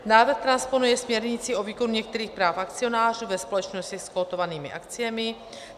Návrh transponuje směrnici o výkonu některých práv akcionářů ve společnosti s kotovanými akciemi.